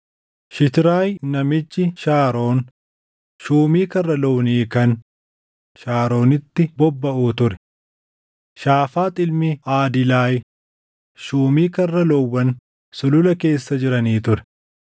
Shitraayi namichi Shaaroon shuumii karra loonii kan Shaaroonitti bobbaʼuu ture. Shaafaax ilmi Aadilaay shuumii karra loowwan sulula keessa jiranii ture.